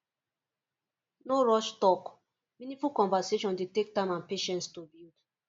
no rush talk meaningful conversation dey take time and patience to build